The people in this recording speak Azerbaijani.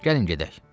Gəlin gedək.